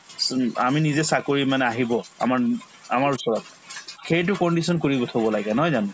আমি নিজে চাকৰি মানে আহিব আমাৰ আমাৰ ওচৰত সেইটো condition কৰিব থব লাগে নহয় জানো